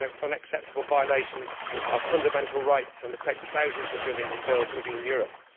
It is a violation of fundamental rights and it affects thousands of women and girls living in Europe.